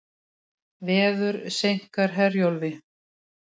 Veður seinkar Herjólfi